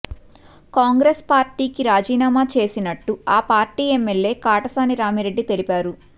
కాంగ్రెస్ పార్టీకి రాజీనామా చేసినట్టు ఆ పార్టీ ఎమ్మెల్యే కాటసాని రామిరెడ్డి తెలిపారు